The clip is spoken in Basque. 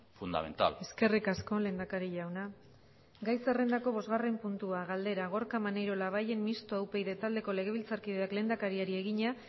fundamental eskerrik asko lehendakari jauna gai zerrendako bosgarren puntua galdera gorka maneiro labayen mistoa upyd taldeko legebiltzarkideak lehendakariari egina